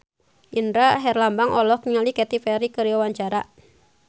Indra Herlambang olohok ningali Katy Perry keur diwawancara